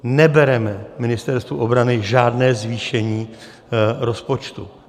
Nebereme Ministerstvu obrany žádné zvýšení rozpočtu.